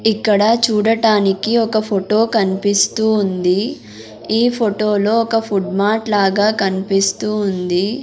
ఇక్కడ చూడటానికి ఒక ఫొటో కన్పిస్తూ ఉంది ఈ ఫొటో లో ఒక ఫుడ్ మార్ట్ లాగా కన్పిస్తూ ఉంది.